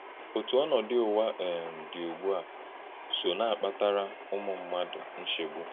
Òtú ònòdu Ụ̀wà um dị̀ ùgbú a sò na-akpàtárá ụmụ̀ mmádụ̀ nchègbú.